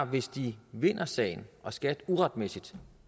hvis de vinder sagen og skat uretmæssigt